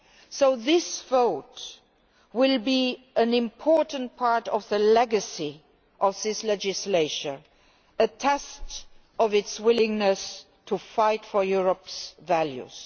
So this vote will be an important part of the legacy of this legislature a test of its willingness to fight for Europe's values.